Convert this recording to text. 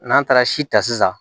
N'an taara si ta sisan